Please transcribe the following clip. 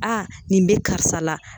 A nin bɛ karisa la